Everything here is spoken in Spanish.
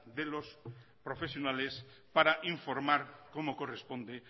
de los profesionales para informar como corresponde